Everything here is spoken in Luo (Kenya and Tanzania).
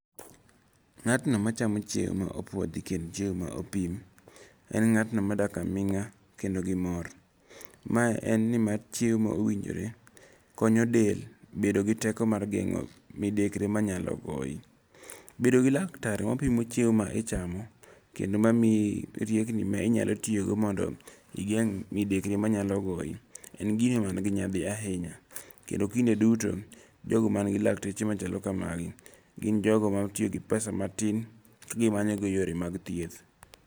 Ng'atno machamo chiemo ma opuodhi kendo chiemo ma opim, en ng'at no madak aming'a kendo gi mor. Ma en ni marchiemo ma owinjore konyo del e geng'o midekre manyalo goyi. Bedo gi laktar mapimo chiemo ma ichamo kendo ma miyi riekni ma inyalo tiyogo mondo igeng' midekre manyalo goyi, en gino man gi nyadhi ahinya kendo kinde duto, jogo man gi lakteche machalo kamagi, gin jogo matiyo gi pesa matin ka gimanyogo yore mag thieth.